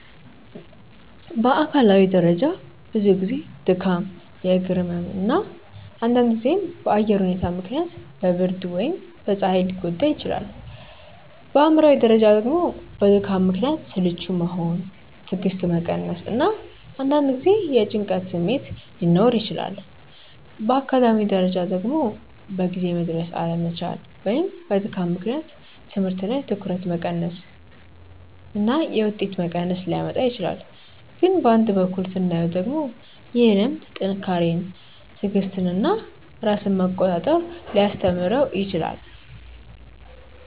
በአካላዊ ደረጃ ብዙ ጊዜ ድካም፣ የእግር ህመም እና አንዳንድ ጊዜም በአየር ሁኔታ ምክንያት በብርድ ወይም በፀሐይ ሊጎዳ ይችላል። በአእምሯዊ ደረጃ ደግሞ በድካም ምክንያት ስልቹ መሆን፣ ትዕግስት መቀነስ እና አንዳንድ ጊዜ የጭንቀት ስሜት ሊኖር ይችላል። በአካዳሚያዊ ደረጃ ደግሞ በጊዜ መድረስ አለመቻል ወይም በድካም ምክንያት ትምህርት ላይ ትኩረት መቀነስ እና የውጤት መቀነስ ሊያመጣ ይችላል። ግን በአንድ በኩል ስናየው ደግሞ ይህ ልምድ ጥንካሬን፣ ትዕግስትን እና ራስን መቆጣጠር ሊያስተምረው ይችላል